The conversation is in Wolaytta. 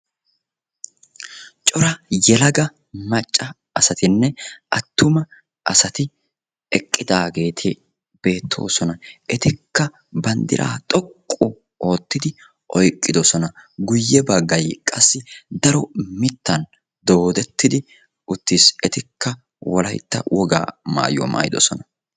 Cora yelaga macca asatinne attuma asati eqqidaageeti beettoosona. Etikka banddiraa xoqqu oottidi oyqqidosona guyye baggayi qassi daro mittan doodettidi uttis. Etikka wolaytta wogaa maayuwa maayidosona.